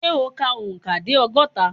Ṣẹ́ o kà òǹkà dé ọgọ́ta?